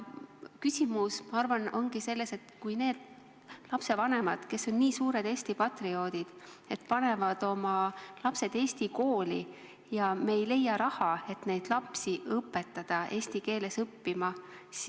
Küsimus minu arvates ongi selles, et paljud lapsevanemad on nii suured Eesti patrioodid, et panevad oma lapsed eesti kooli, aga me ei leia raha, et õpetada neid lapsi eesti keeles õppima.